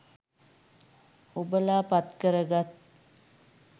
ඔබල පත් කරගත්